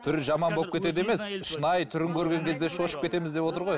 түрі жаман болып кетеді емес шынайы түрін көрген кезде шошып кетеміз деп отыр ғой